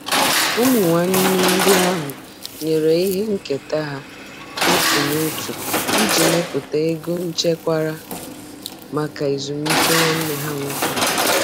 Ụmụnne ndị ahụ nyere ihe nketa ha otu n'otu iji mepụta ego echekwara maka ezumike nwanne ha nwoke.